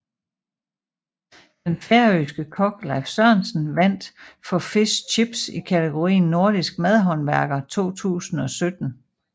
Den færøske kok Leif Sørensen vandt for Fish Chips i kategorien Nordisk madhåndværker 2017